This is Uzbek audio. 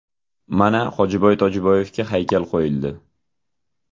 Mana Hojiboy Tojiboyevga haykal qo‘yildi.